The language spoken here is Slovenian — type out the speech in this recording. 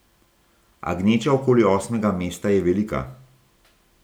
A gneča okoli osmega mesta je velika.